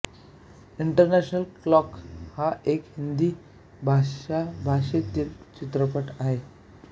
international Clock हा एक हिंदी भाषा भाषेतील चित्रपट आहे